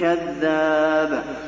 كَذَّابٌ